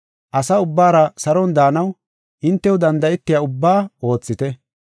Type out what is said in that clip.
Asa ubbaara saron daanaw hintew danda7etiya ubbaa oothite.